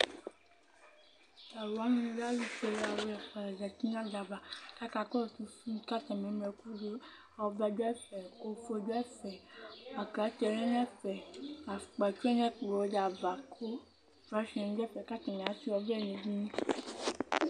Talʋwani lɛ ɛtʋfuele alʋ atalʋ ɛfʋa la zeti nʋ adava kʋ akakɔsʋ fim kʋ atani eŋlo ɛkʋ dʋ ɔvlɛ dʋ ɛfɛ , ofue dʋ ɛfɛ aklate lɛnʋvɛfɛ, afukpa tuse nʋ ɛkplɔdi ava kʋ flasenʋ dʋ ɛfɛ kʋ atani asui ɔvlɛ nʋ edini